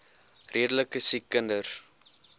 redelike siek kinders